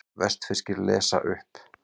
Vestfirskir lesa upp